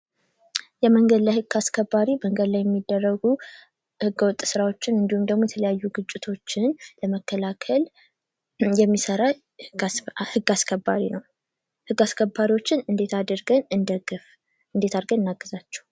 የመንገድ ላይ ህግ አስከባሪ መንገድ ላይ የሚደረጉ ህገወጥ ስራዎችን እንዲሁም የተለያዩ ግጭቶችን ለመከላከል የሚሰራ ህግ አስከባሪ ነው። ህግ አስከባሪዎችን እንዴት አድርገን እንርዳ እንዴት አድርገን እናግዛቸው?